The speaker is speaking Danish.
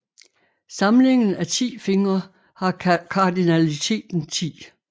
Samlingen af 10 fingre har kardinaliteten 10